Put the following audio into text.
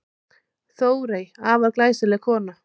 Þórey, afar glæsileg kona.